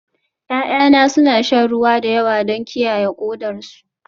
Ya'yana suna shan ruwa da yawa don kiyaye kodarsu